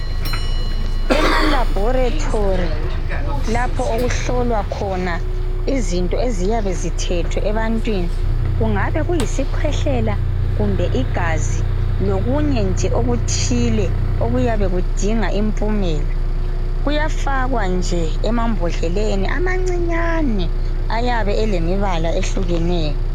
Ema laboratory lapho okuhlolwa khona eziyabe zithethwe ebantwini kungabe kuyisikhwehlela kumbe igazi lokunye nje okuthile okuyane kudinga impumela kuyafakwa nje emambodleleni amancinyane ayabe elemibala eyehlukeneyo